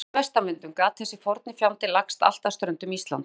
langvarandi vestanvindum gat þessi forni fjandi lagst allt að ströndum Íslands.